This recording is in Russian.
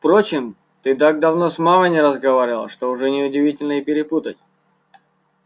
впрочем ты так давно с мамой не разговаривал что уже неудивительно и перепутать